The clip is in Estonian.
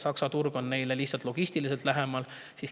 Saksa turg on neile lihtsalt logistiliselt lähemal.